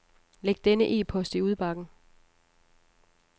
Læg denne e-post i udbakken.